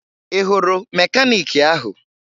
Ị hụrụ mekaniiki ahụ?